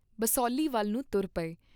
ਬਸੋਹਲੀ ਵੱਲ ਨੂੰ ਤੁਰ ਪਏ।